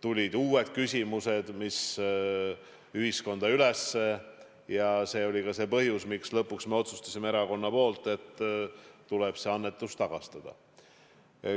tulid uued küsimused ühiskonnas üles ja see oli ka põhjus, miks me lõpuks otsustasime erakonnas, et tuleb see annetus tagastada.